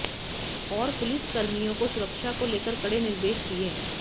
और पुलिस कर्मियों को सुरक्षा को लेकर कडे़ निर्देश दिये